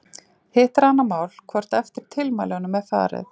Hitt er annað mál hvort eftir tilmælunum er farið.